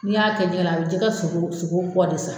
N'i y'a kɛ jɛgɛ la a bɛ jɛgɛ sogo sogo kɔ de sa.